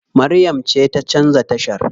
Maryam ce ta canza tashar.